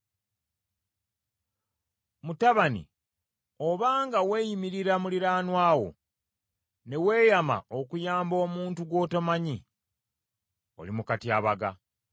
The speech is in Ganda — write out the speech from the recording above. Mutabani obanga weeyimirira muliraanwa wo, ne weeyama okuyamba omuntu gw’otomanyi, oli mu katyabaga.